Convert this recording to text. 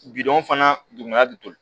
fana duguma du